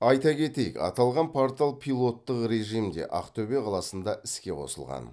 айта кетейік аталған портал пилоттық режимде ақтөбе қаласында іске қосылған